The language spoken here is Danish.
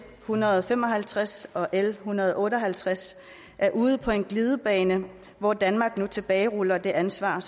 hundrede og fem og halvtreds og l en hundrede og otte og halvtreds er ude på en glidebane hvor danmark nu tilbageruller det ansvar